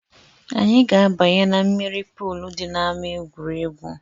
Anyị ga-abanye na mmiri polu dị n’ama egwuregwu